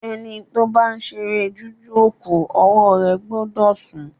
Ẹni ba fe ṣeré jújù òkò, ọwọ́ rẹ̀ gbọ́dọ̀ sùn